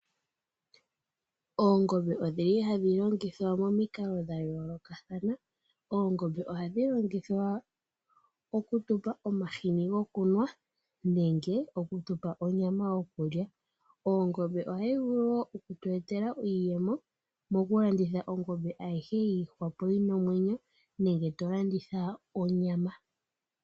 Oongombe odhi li hadhi longithwa momikalo dha yolokathana. Oongombe ohadhi longithwa oku tupa omahini gokunwa, nenge oku tupa onyama yokulya. Ongombe ohayi vulu wo oku tu etela iiyemo moku landitha ongombe ayihe yi ihwapo yi na omwenyo, nenge tolanditha onyama.